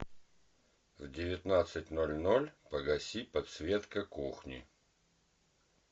в девятнадцать ноль ноль погасить подсветка кухни